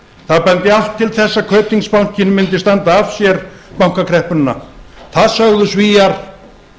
það benti allt til þess að kaupþingsbankinn mundi standa af sér bankakreppuna það sögðu svíar